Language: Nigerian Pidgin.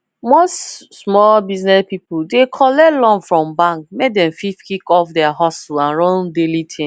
most small biz people dey collect loan from bank make dem fit kick off their hustle and run daily things